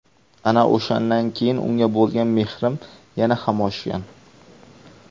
Ana o‘shandan keyin unga bo‘lgan mehrim yana ham oshgan.